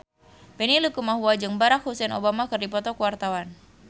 Benny Likumahua jeung Barack Hussein Obama keur dipoto ku wartawan